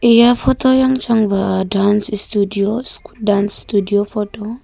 eya photo yang chang ba dance studio photo .